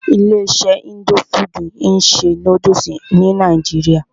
Ilé iṣé indo fudù ń ṣe nódúsì ní nàìjíría.